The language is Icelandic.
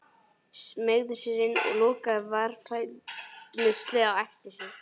Smeygði sér inn og lokaði varfærnislega á eftir sér.